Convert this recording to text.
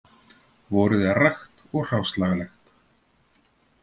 Vorið er rakt og hráslagalegt